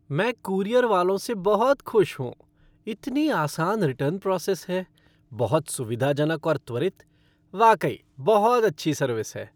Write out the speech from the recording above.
मैं कूरियर वालों से बहुत खुश हूँ, इतनी आसान रिटर्न प्रोसेस है, बहुत सुविधाजनक और त्वरित। वाकई बहुत अच्छी सर्विस है।